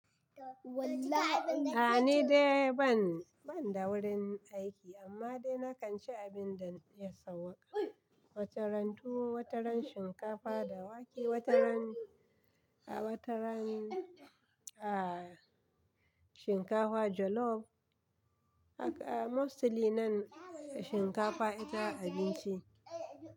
A'a ni dai ban, ban da wurin aiki amma dai nakan ci abin da ya sauƙa. Wataran tuwo, wataran shinkafa da wake, wata ran, a wata ran, a shinkafa jollof. Haka mostly nan shinkafa ita abinci.